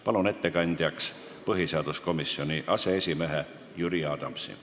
Palun ettekandjaks põhiseaduskomisjoni aseesimehe Jüri Adamsi.